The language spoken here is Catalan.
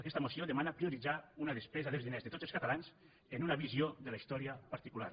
aquesta moció demana prioritzar una despesa dels diners de tots els catalans en una visió de la història particular